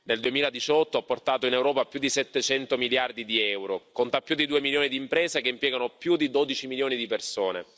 Nel 2018 ha portato in Europa più di 700 miliardi di euro, conta più di 2 milioni di imprese che impiegano più di 12 milioni di persone.